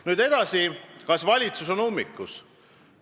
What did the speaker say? Nüüd edasi, kas valitsus on ummikus?